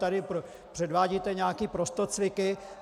Tady předvádíte nějaké prostocviky.